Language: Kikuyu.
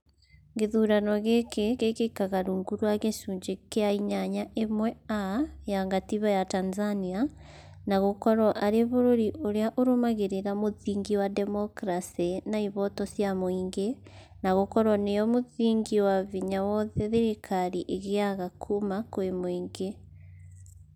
Gĩthurano gĩkĩ gĩkĩkaga rungu rwa gĩcunjĩ gĩa inyanya ĩmwe (a) ya gatiba ya Tanzania, na gũkorwo arĩ bũrũri ũrĩa ũrũmagĩrĩra mũthingi wa demokarasĩ na ihoto cia mũingi, na gũkorwo nĩyo mũthingi wa hinya wothe thirikari ĩgĩaga kuma kwĩ muĩngi